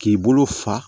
K'i bolo fa